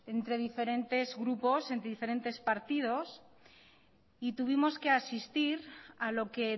entre diferentes grupos entre diferentes partidos y tuvimos que asistir a lo que